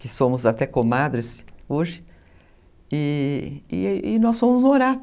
que somos até comadres hoje, e e nós fomos morar.